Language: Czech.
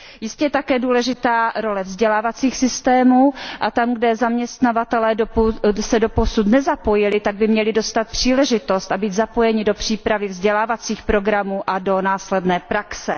Jistě je také důležitá role vzdělávacích systémů, a tam kde zaměstnavatelé se dosud nezapojili, tak by měli dostat příležitost a být zapojeni do přípravy vzdělávacích programů a do následné praxe.